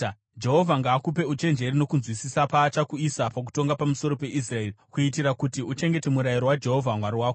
Jehovha ngaakupe uchenjeri nokunzwisisa paachakuisa pakutonga pamusoro peIsraeri, kuitira kuti uchengete murayiro waJehovha Mwari wako.